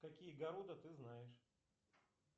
какие города ты знаешь